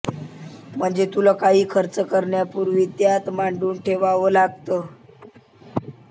म्हणजे तुला काही खर्च करण्यापूर्वी त्यात मांडून ठेवावं लागतं